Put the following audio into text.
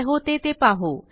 काय होते ते पाहू